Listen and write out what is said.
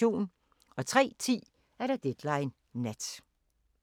03:10: Deadline Nat